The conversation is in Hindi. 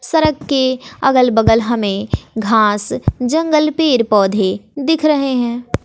सरक के अगल बगल हमें घास जंगल पेर पौधे दिख रहे हैं।